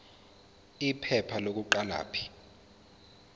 iphepha lokuqala p